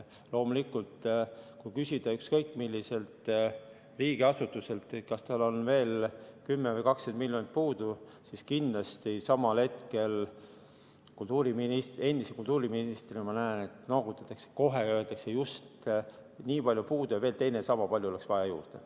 Loomulikult, kui küsida ükskõik milliselt riigiasutuselt, kas tal on veel 10 või 20 miljonit puudu, siis kindlasti kohe öeldakse, et just nii palju on puudu ja veel teine samapalju oleks vaja juurde.